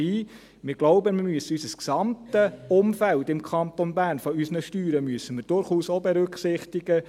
Wir denken, wir müssen durchaus auch das gesamte Umfeld unserer Steuern im Kanton Bern berücksichtigen.